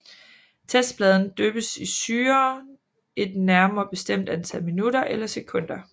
Testpladen dyppes i syren et nærmere bestemt antal minutter eller sekunder